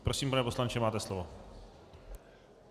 Prosím, pane poslanče, máte slovo.